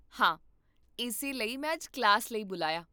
ਹਾਂ, ਇਸੇ ਲਈ ਮੈਂ ਅੱਜ ਕਲਾਸ ਲਈ ਬੁਲਾਇਆ